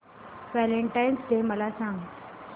Valentine's day मला सांग